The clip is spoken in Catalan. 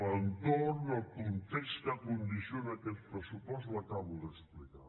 l’entorn el context que condiciona aquest pressupost l’acabo d’explicar